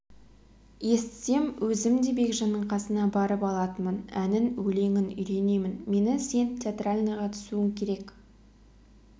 естісем өзім де бекжанның қасына барып алатынмын әнін өлеңін үйренемін мені сен театральныйға түсуің керек